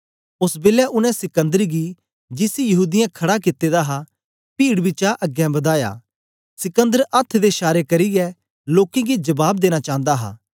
ओस बेलै उनै सिकंदर गी जिसी यहूदीयें खड़ा कित्ते दा हा पीड बिचा अगें बदाया सिकंदर अथ्थ दे शारे करियै लोकें गी जबाब देना चांदा हा